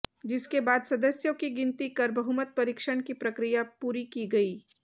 जिसके बाद सदस्यों की गिनती कर बहुमत परीक्षण की प्रक्रिया पूरी की गई